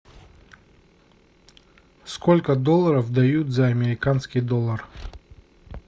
сколько долларов дают за американский доллар